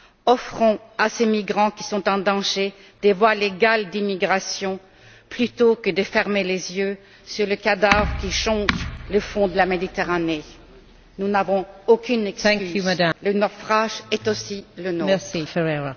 Offrons à ces migrants qui sont en danger des voies légales d'immigration plutôt que de fermer les yeux sur les cadavres qui jonchent le fond de la Méditerranée. Nous n'avons aucune excuse, le naufrage est aussi le nôtre!